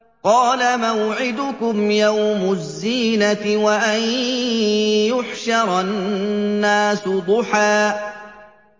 قَالَ مَوْعِدُكُمْ يَوْمُ الزِّينَةِ وَأَن يُحْشَرَ النَّاسُ ضُحًى